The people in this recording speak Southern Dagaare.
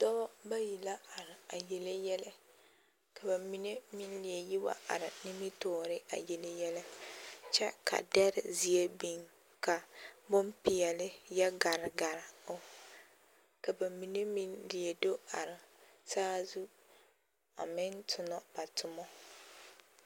Dɔba bayi la are a yelle yɛlɛ ka ba mine meŋ leɛ yi wa are nimitɔɔre a yelle yɛlɛ kyɛ ka dɛre zeɛ biŋ ka bonpeɛlle yɔ gare gare o ka ba mine meŋ leɛ do are saa zu a meŋ tona ba toma.